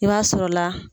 I b'a sɔrɔ la